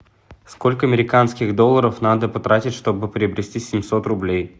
сколько американских долларов надо потратить чтобы приобрести семьсот рублей